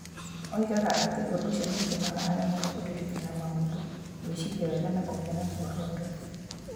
Oigaga atĩ ũndũ ũcio nĩ ũtũmaga aremwo nĩ kũririkana maũndũ. Gwĩciria wega na kũgĩa na muoroto.